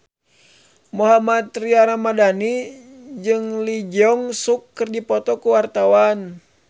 Mohammad Tria Ramadhani jeung Lee Jeong Suk keur dipoto ku wartawan